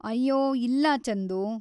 ಅಯ್ಯೋ, ಇಲ್ಲ ಚಂದು.